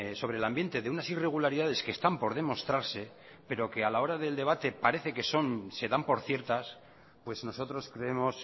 sobre el ambiente de unas irregularidades que están por demostrarse pero que a la hora del debate parece que son se dan por ciertas pues nosotros creemos